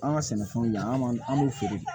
An ka sɛnɛfɛnw yan an b'u feere